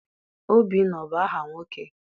Obinna abụ aha nwoke?